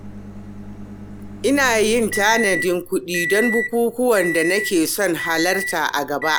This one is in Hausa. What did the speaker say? Ina yin tanadin kuɗi don bukukuwan da nake son halarta a gaba.